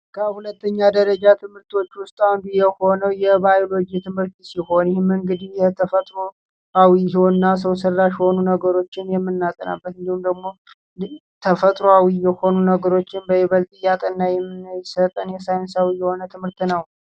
ከሁለተኛ ደረጃ ትምህርቶች ውስጥ አንዱ የሆነው የባዮሎጂ ትምህርት ሲሆን ይህም የተፈጥሮ አዊ እና ሰው ሰራሽ የሆኑ ነገሮችን የምናጠናበት እንዲሁም ደግሞ ተፈጥሯዊ የሆነ ነገሮችን በብዛት የሚያጠና የሳይንስ ትምህርት ነው።